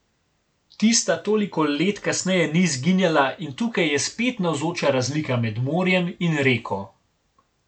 Tista toliko let kasneje ni izginjala in tukaj je spet navzoča razlika med morjem in reko.